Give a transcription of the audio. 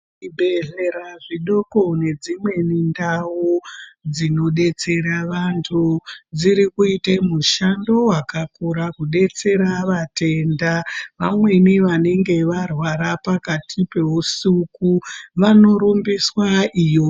Zvibhedhlera zvidoko nedzimweni ndau dzinodetsera vantu, dziri kuite mushando wakakura, kudetsera vatenda, vamweni vanenge varwara pakati peusuku, vanorumbiswa iyo.